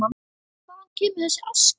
Hvaðan kemur þessi aska?